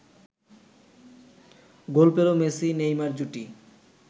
গোল পেল মেসি-নেইমার জুটি